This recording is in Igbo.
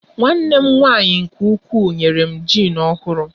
Nwanne m nwaanyị nke ukwuu nyere m jịn ọhụrụ.